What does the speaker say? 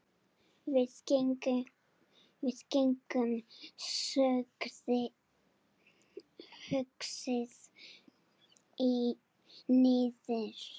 Við gengum hugsi niður